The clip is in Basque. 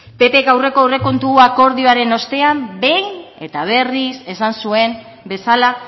ppk aurreko aurrekontu akordioaren ostean behin eta berriz esan zuen bezala